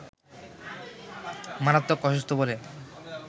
মারাত্মক অসুস্থ বলে